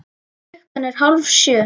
Klukkan er hálf sjö.